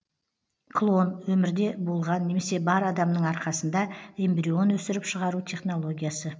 клон өмірде болған немесе бар адамның арқасында эмбрион өсіріп шығару технологиясы